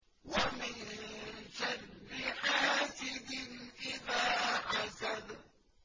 وَمِن شَرِّ حَاسِدٍ إِذَا حَسَدَ